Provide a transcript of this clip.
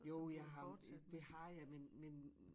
Jo jeg har jo det har jeg men men